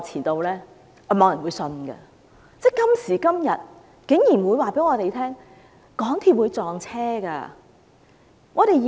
但今時今日，竟然有人告訴我們，港鐵的列車會相撞。